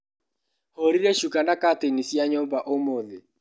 Hũrire cuka na catĩini cia nyũmba ũmũthĩ.